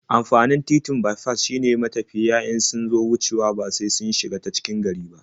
Amfanin titin baifas shine matafiya in sun zo wucewa ba sai sun shiga ta cikin gari ba.